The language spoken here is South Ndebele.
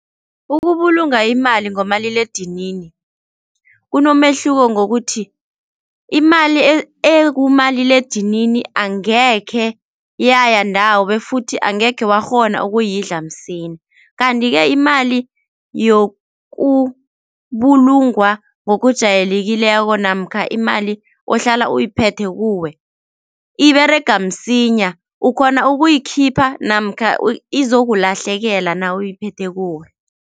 Ukubulunga imali ngomaliledinini kunomehluko ngokuthi imali ekumaliledinini angekhe yayandawo befuthi angekhe wakghona ukuyidla msinya. Kanti-ke imali yokubulungwa ngokujayelekileko namkha imali ohlala uyiphethe kuwe iberega msinya ukhona ukuyikhipha namkha izokulahlekela nawuyiphethe kuwe.